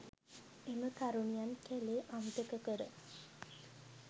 එම තරුණියන් කැළේ අමතක කර